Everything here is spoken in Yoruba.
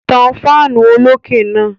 Tan fáánù olókè náà.